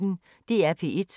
DR P1